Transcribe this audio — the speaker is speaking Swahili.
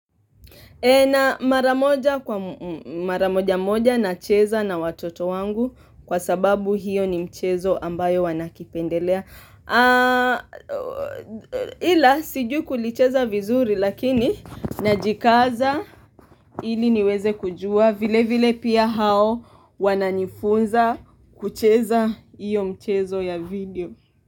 E na mara moja moja nacheza na watoto wangu kwa sababu hiyo ni mchezo ambayo wanakipendelea. Ila sijui kulicheza vizuri lakini najikaza ili niweze kujua vile vile pia hao wananifunza kucheza hiyo mchezo ya video.